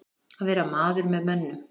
Að vera maður með mönnum